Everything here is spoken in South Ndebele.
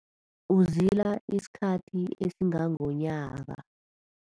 Uzila isikhathi esingangonyaka.